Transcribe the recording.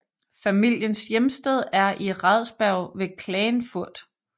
Familiens hjemsted er i Radsberg ved Klagenfurt